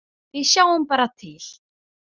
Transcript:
Við sjáum bara til.